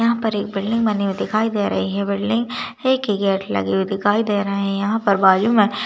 यहां पर एक बिल्डिंग बने हुए दिखाई दे रही है बिल्डिंग है कि गेट लगी हुई दिखाई दे रहे हैं यहां पर बाजू में--